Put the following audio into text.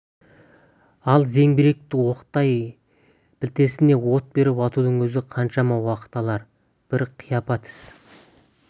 ал зеңбіректі оқтап білтесіне от беріп атудың өзі қаншама уақыт алар бір қияпат іс